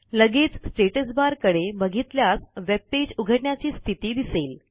लगेच status bar कडे बघितल्यास वेबपेज उघडण्याची स्थिती दिसेल